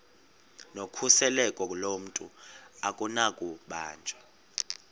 nokhuseleko lomntu akunakubanjwa